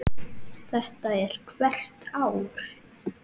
Þetta er hvert ár?